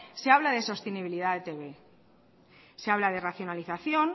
se habla de sostenibilidad de etb se habla de racionalización